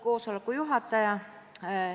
Austatud juhataja!